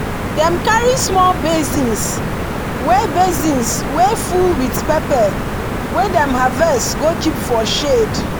dem carry small basins wey basins wey full with pepper wey dem harvest go keep for shed.